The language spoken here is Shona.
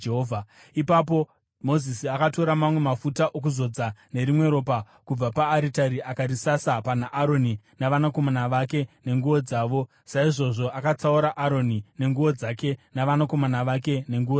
Ipapo Mozisi akatora mamwe mafuta okuzodza nerimwe ropa kubva paaritari akarisasa pana Aroni navanakomana vake nenguo dzavo. Saizvozvo, akatsaura Aroni nenguo dzake navanakomana vake nenguo dzavo.